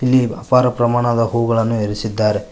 ಇಲ್ಲಿ ಅಪಾರ ಪ್ರಮಾಣದ ಹೂಗಳನ್ನು ಇರಿಸಿದ್ದಾರೆ.